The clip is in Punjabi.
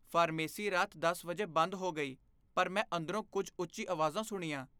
ਫਾਰਮੇਸੀ ਰਾਤ ਦਸ ਵਜੇ ਬੰਦ ਹੋ ਗਈ ਪਰ ਮੈਂ ਅੰਦਰੋਂ ਕੁੱਝ ਉੱਚੀ ਆਵਾਜ਼ਾਂ ਸੁਣੀਆਂ